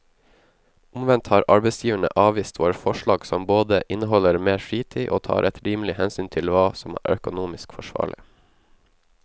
Omvendt har arbeidsgiverne avvist våre forslag som både inneholder mer fritid og tar et rimelig hensyn til hva som er økonomisk forsvarlig.